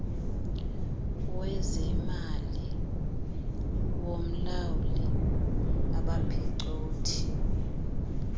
wezemali womlawuli abaphicothi